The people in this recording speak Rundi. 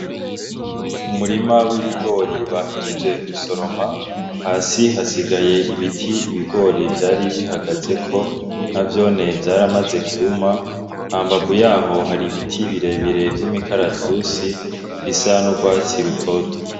Umurima w'ibigori bahejeje gusoroma hasi hasigaye ibiti ibigori Vyari bihagazeko navyone vyaramaze kwuma hambavu yaho Hari ibiti birebire vy'imikaratusi bisa n'urwatsi rutoto.